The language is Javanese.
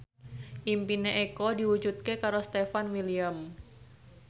impine Eko diwujudke karo Stefan William